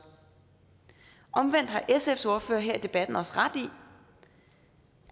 omvendt har sfs ordfører her i debatten også ret i